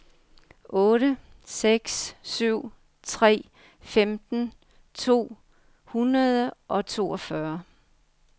otte seks syv tre femten to hundrede og toogfyrre